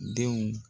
Denw